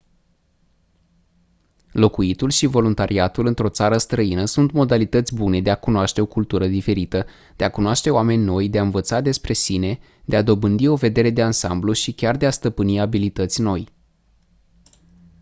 locuitul și voluntariatul într-o țară străină sunt modalități bune de a cunoaște o cultură diferită de a cunoaște oameni noi de a învăța despre sine de a dobândi o vedere de ansamblu și chiar de a stăpâni abilități noi